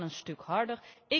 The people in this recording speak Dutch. Dat kan een stuk harder.